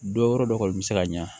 Dɔ yɔrɔ dɔ kɔni bɛ se ka ɲa